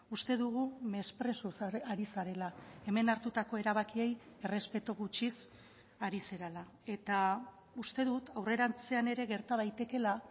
uste dugu mesprezuz ari zarela hemen hartutako erabakiei errespetu gutxiz ari zarela eta uste dut aurrerantzean ere gerta daitekeela